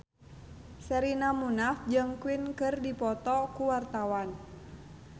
Sherina Munaf jeung Queen keur dipoto ku wartawan